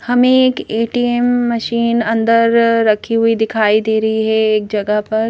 हमें एक ATM machine अंदर रखी हुई दिखाई दे रही है एक जगह पर।